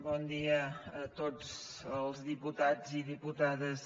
bon dia a tots els diputats i diputades